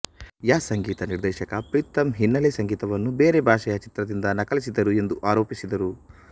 ಯ ಸಂಗೀತ ನಿರ್ದೇಶಕ ಪ್ರೀತಮ್ ಹಿನ್ನೆಲೆ ಸಂಗೀತವನ್ನು ಬೇರೆ ಭಾಷೆಯ ಚಿತ್ರದಿಂದ ನಕಲಿಸಿದರು ಎಂದೂ ಆರೋಪಿಸಿದರು